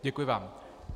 Děkuji vám.